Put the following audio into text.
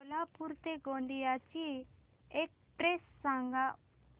कोल्हापूर ते गोंदिया ची एक्स्प्रेस सांगा